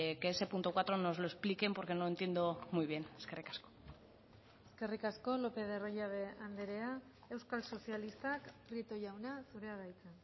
que ese punto cuatro nos lo expliquen porque no entiendo muy bien eskerrik asko eskerrik asko lópez de arroyabe andrea euskal sozialistak prieto jauna zurea da hitza